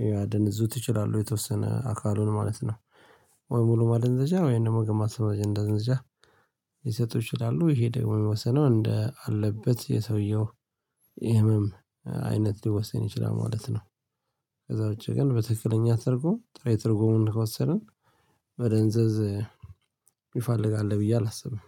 ሊያደነዝዙት ይችላሉ የተወሰነ አካሉን ማለት ነው። ወይ ሙሉ ማደንዘዣ ወይ ደግሞ ግማሽ ማደንዘዣ ሊሰጡ ይችላሉ። ይሄ ደግሞ የሚወሰነው እንደ አለበት የሰውየው ህመም አይነት ሊወሰን ይችላል ማለት ነው። ከዛ ውጪ ግን በትክክለኛ ትርጉም ጥሬ ትርጉሙን ከወሰድን መደንዘዝ የሚፈልግ አለ ብዬ አላስብም።